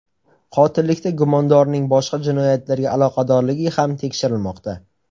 Qotillikda gumondorning boshqa jinoyatlarga aloqadorligi ham tekshirilmoqda.